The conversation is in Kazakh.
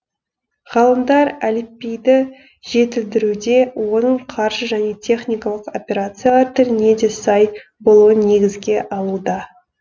ғалымдар әліпбиді жетілдіруде оның қаржы және техникалық операциялар тіліне де сай болуын негізге алуда